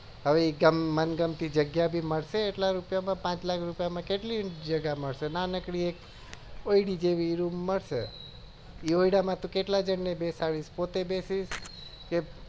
હવે મન ગમતી જગ્યા પણ મળશે એટલા રૂપિયા માં પાંચ લાખ રૂપિયા નાનકડી ઓયાદી જેવડી મળશે એવડા માં તું કેટલા જન ને બેસાડીશ પોતે બેસીસ કે હવે